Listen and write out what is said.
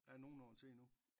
Der er nogle år til endnu